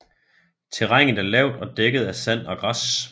Terrænet er lavt og dækket af sand og græs